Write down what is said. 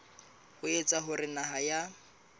ho etsa hore naha ya